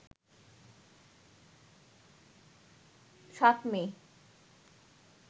৭ মে